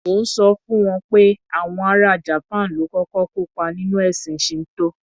Mò ń sọ fún wọn pé àwọn ara Japan ló kọ́kọ́ kópá nínú ẹ̀sìn Shinto.